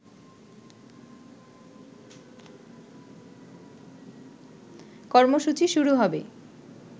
কর্মসূচি শুরু হবে